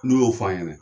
N'u y'o f'an ɲɛnɛ